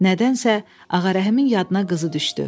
Nədənsə Ağarəhimin yadına qızı düşdü.